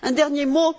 Un dernier mot.